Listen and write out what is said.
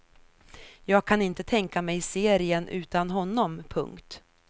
Jag kan inte tänka mig serien utan honom. punkt